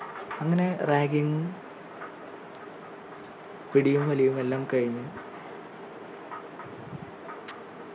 അങ്ങനെ ragging ഉം പിടിയും വലിയും എല്ലാം കഴിഞ്ഞ്